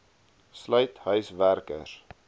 sluit huis werkers